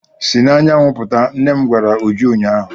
Si n'anyanwụ pụta! nnem gwara Uju ụnyahụ.